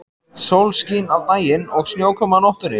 Sólskin á daginn og snjókoma á nóttunni.